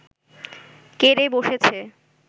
কে রে বসেছে